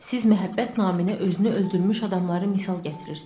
Siz məhəbbət naminə özünü öldürmüş adamları misal gətirirsiz.